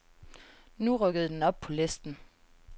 Nu rykkede den op på listen.